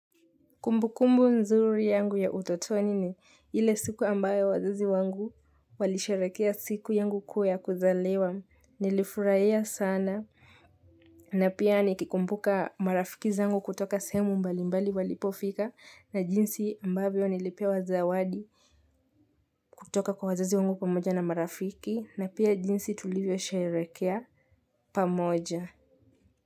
Kumbukumbu nzuri yangu ya utotoni ni ile siku ambayo wazazi wangu walisherehekea siku yangu kuu ya kuzaliwa nilifurahia sana na pia nikikumbuka marafiki zangu kutoka sehemu mbali mbali walipofika na jinsi ambavyo nilipewa zawadi kutoka kwa wazazi wangu pamoja na marafiki na pia jinsi tulivyosherehekea pamoja.